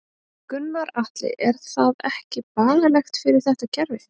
Gunnar Atli: Er það ekki bagalegt fyrir þetta kerfi?